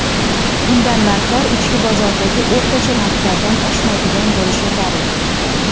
Bundan narxlar ichki bozoridagi o‘rtacha narxlardan oshmaydigan bo‘lishi zarur.